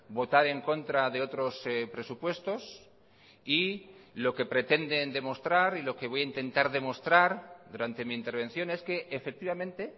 votar en contra de otros presupuestos y lo que pretenden demostrar y lo que voy a intentar demostrar durante mi intervención es que efectivamente